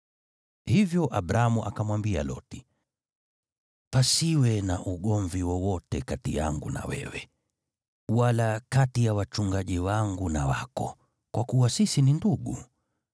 Hivyo Abramu akamwambia Loti, “Pasiwe na ugomvi wowote kati yangu na wewe, wala kati ya wachungaji wangu na wako, kwa kuwa sisi ni ndugu.